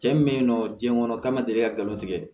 Cɛ min bɛ yen nɔ diɲɛ kɔnɔ ka ma deli ka galon tigɛ